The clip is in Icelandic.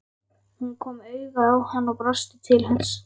Hún kom auga á hann og brosti til hans.